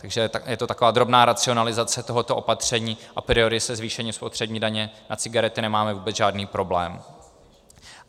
Takže je to taková drobná racionalizace tohoto opatření, a priori se zvýšením spotřební daně na cigarety nemáme vůbec žádný problém.